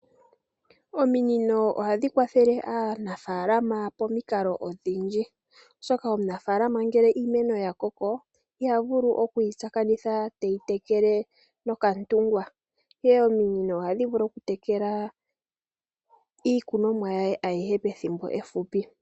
Ominino ohadhi kwathele aanafalama pomikalo odhindji oshoka omunafalama ngele iimeno yakoko iha vulu okuyi tsakanitha teyi tekele noka yemele, Ihe ominino ohadhi vulu oku tekela iikunomwa ya ye ayihe pethimbo limwe efupi.